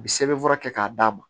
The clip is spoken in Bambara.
U bi sɛbɛnfura kɛ k'a d'a ma